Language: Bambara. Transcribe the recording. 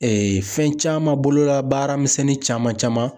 fɛn caman bolola baaramisɛnnin caman caman